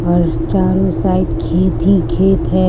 और चारो साइड खेत ही खेत है।